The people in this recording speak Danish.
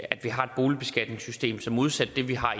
at vi har et boligbeskatningssystem som modsat det vi har